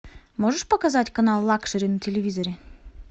можешь показать канал лакшери на телевизоре